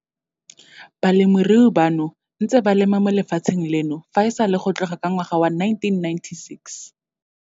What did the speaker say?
Balemirui bano ba ntse ba lema mo lefatsheng leno fa e sale go tloga ka ngwaga wa 1996.